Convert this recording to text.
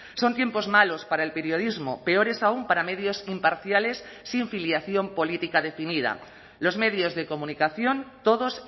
son tiempos malos para el periodismo peores aún para medios imparciales sin filiación política definida los medios de comunicación todos